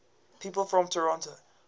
people from toronto